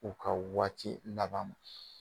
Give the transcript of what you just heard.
U ka waati laban.